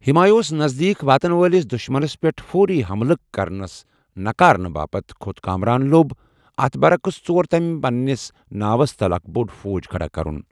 ہمایوں نزدیك واتن وٲلِس دُشمنس پیٹھ فوری حملس نکار کرنہٕ پتہٕ کھوٚت کامران لوٚب، اتھ برعکس ژور تٕمہِ پننِس ناوس تل اكھ بوڈ فوج كھڈا كرُن ۔